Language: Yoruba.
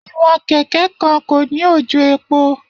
Iwọn keke kan ko ni ojò epo.